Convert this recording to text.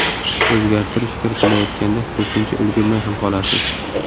O‘zgartirish kiritilayotganda ko‘pincha ulgurmay ham qolasiz.